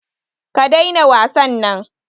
Ka daina wasan nan